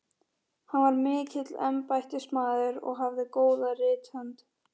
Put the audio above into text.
Hann var mikill embættismaður og hafði góða rithönd.